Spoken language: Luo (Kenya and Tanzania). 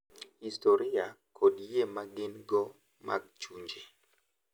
historia, kod yie ma gin-go mag chunje.